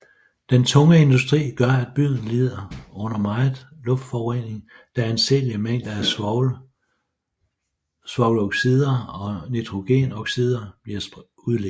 Den tunge industri gør at byen lider under meget luftforurening da anseelige mængder svovloxider og nitrogenoxider bliver udledt